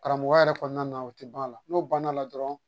Karamɔgɔya yɛrɛ kɔnɔna na o tɛ ban a la n'o banna dɔrɔn